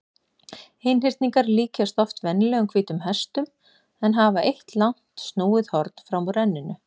Einhyrningar líkjast oft venjulegum hvítum hestum en hafa eitt langt snúið horn fram úr enninu.